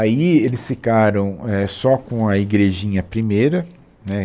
Aí eles ficaram, é, só com a igrejinha primeira, né